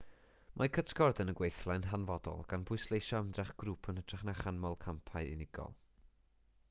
mae cytgord yn y gweithle'n hanfodol gan bwysleisio ymdrech grŵp yn hytrach na chanmol campau unigol